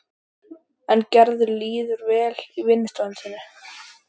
En Gerði líður vel í vinnustofunni sinni.